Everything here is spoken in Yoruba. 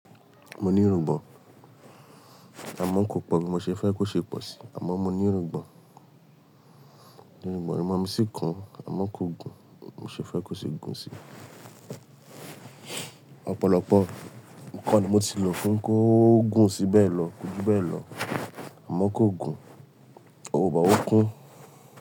Mo ní irùngbọ̀n, àmọ́ kò pọ̀ bí mo ṣe fẹ́ kó ṣe pọ̀ sí. Àmọ́ mo ní irùngbọ̀n, irùngbọ̀n mi sì kún, àmọ́ kò gùn bí mo ṣe fẹ́ kó ṣe gùn sí. Ọ̀pọ̀lọpọ̀ ǹkan ni mo ti lò fún kí ó gùn sí bẹ́ẹ̀ lọ, koju bẹ́ẹ̀ lọ àmọ́ kò gùn, but ó kún.